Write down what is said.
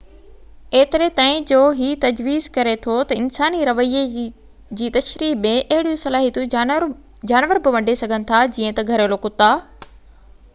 ايتري تائين جو هي تجويز ڪري ٿو ته انساني رويي جي تشريح ۾ اهڙيون صلاحيتون جانور به ونڍي سگهن ٿا جيئن ته گهريلو ڪتا